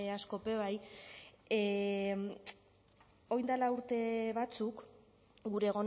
askok be bai orain dela urte batzuk gure